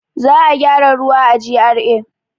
Za a gyara ruwa a GRA.